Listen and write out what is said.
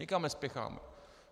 Nikam nespěcháme.